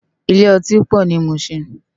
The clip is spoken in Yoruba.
Ilé òtín pò ni Mushin